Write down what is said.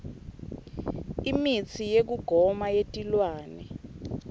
imitsi yekugoma yetilwane